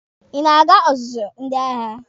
Ị na-aga ọzụzụ ndị agha?